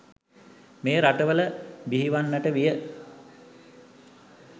මේ රටවල බිහිවන්නට විය.